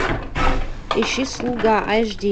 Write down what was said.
ищи слуга аш ди